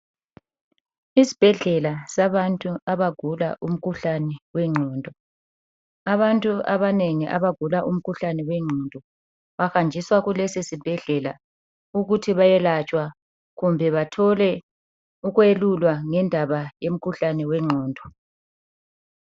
Isibhedlela sabantu abagula umkhuhlane wenqondo. Abantu abanengi abagula umkhuhlane wenqondo bahanjiswa kulesi sibhedlela ukuthi bayelatshwa kumbe bathole ukwelulwa ngendaba yomkhuhlane wenqondo.